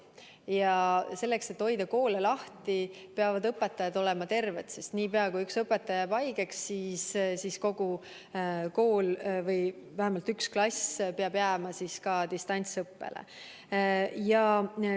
Ja selleks, et hoida koole lahti, peavad õpetajad olema terved, sest niipea, kui üks õpetaja jääb haigeks, peab kogu kool või vähemalt üks klass jääma distantsõppele.